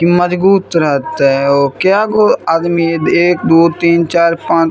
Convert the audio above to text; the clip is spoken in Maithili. इ मजबूत रहते ओ कए गो आदमी एक दो तीन चार पांच --